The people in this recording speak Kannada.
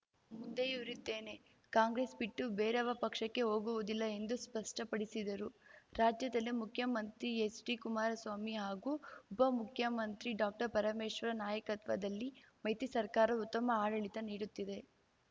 ಮುಂದೆಯೂ ಇರುತ್ತೇನೆ ಕಾಂಗ್ರೆಸ್‌ ಬಿಟ್ಟು ಬೇರಾವ ಪಕ್ಷಕ್ಕೆ ಹೋಗುವುದಿಲ್ಲ ಎಂದು ಸ್ಪಷ್ಟಪಡಿಸಿದರು ರಾಜ್ಯದಲ್ಲಿ ಮುಖ್ಯಮಂತ್ರಿ ಎಚ್‌ಡಿ ಕುಮಾರಸ್ವಾಮಿ ಹಾಗೂ ಉಪ ಮುಖ್ಯಮಂತ್ರಿ ಡಾಕ್ಟರ್ ಪರಮೇಶ್ವರ್‌ ನಾಯಕತ್ವದಲ್ಲಿ ಮೈತ್ರಿ ಸರ್ಕಾರ ಉತ್ತಮ ಆಡಳಿತ ನೀಡುತ್ತಿದೆ